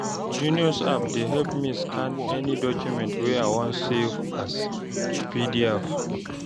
genius app dey help me scan any document wey i wan save as pdf